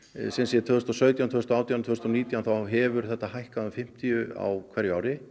tvö þúsund og sautján tvö þúsund og átján og tvö þúsund og nítján þá hefur þetta hækkað um fimmtíu á hverju ári